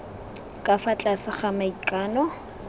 ka fa tlase ga maikano